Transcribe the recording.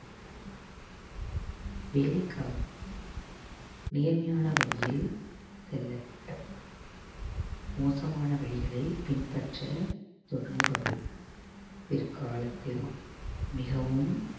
வேலைக்காக நேர்மையான வழியில் செல்ல வேண்டும் மோசமான வழிகளை பின்பற்ற தொடங்குபவர் பிற்காலத்தில் மிகவும்